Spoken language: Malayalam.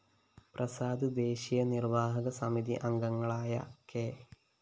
പ്രസാദ് ദേശീയ നിര്‍വാഹക സമിതി അംഗങ്ങളായ കെ